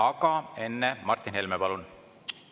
Aga enne Martin Helme, palun!